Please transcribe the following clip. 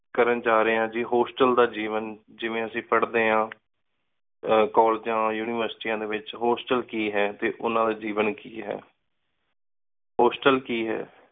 ਕਰਨ ਜਾ ਰੀ ਆਂ ਹੋਸਟਲ ਦਾ ਜੇਵਾਂ ਜਿਵੇਂ ਅੱਸੀ ਪਾਰ੍ਹ੍ਡੀ ਆਂ ਕੋਲ੍ਲੇਗੇ ਉਨਿਵੇਰ੍ਸਿਟੀ ਡੀ ਵਿਚ ਹੋਸਟਲ ਕੀ ਹੈ ਟੀ ਓਹਨਾ ਦਾ ਜੇਵਾਂ ਕੀ ਹੈ ਹੋਸਟਲ ਕੀ ਹੈ